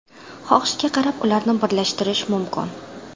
Xohishga qarab, ularni birlashtirish mumkin.